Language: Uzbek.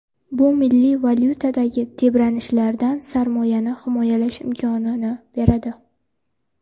Bu milliy valyutadagi tebranishlardan sarmoyani himoyalash imkonini beradi.